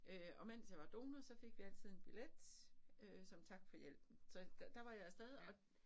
Øh og mens jeg var donor så fik vi altid en billet øh som tak for hjælpen så der var jeg af sted og